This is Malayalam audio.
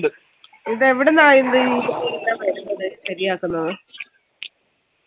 ഇതെവിടുന്ന ശരിയാക്കുന്നത്